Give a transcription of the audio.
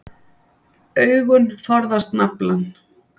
Augun forðast naflann.